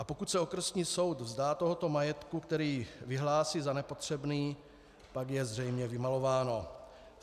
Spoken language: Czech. A pokud se okresní soud vzdá tohoto majetku, který vyhlásí za nepotřebný, tak je zřejmě vymalováno.